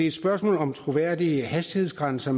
et spørgsmål om troværdige hastighedsgrænser